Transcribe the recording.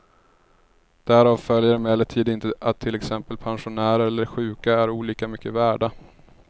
Därav följer emellertid inte att till exempel pensionärer eller sjuka är olika mycket värda.